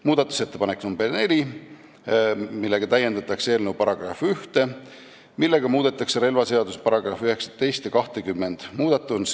Muudatusettepanekuga nr 4 täiendatakse eelnõu § 1, millega muudetakse relvaseaduse § 19 ja 20.